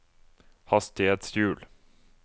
hastighetshjul